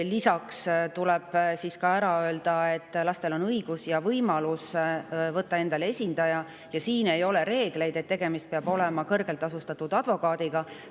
Lisaks tuleb ka ära öelda, et lastel on õigus ja võimalus võtta endale esindaja, kuid ei ole reeglit, et tegemist peab olema kõrgelt tasustatud advokaadiga.